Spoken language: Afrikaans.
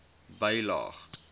bylaag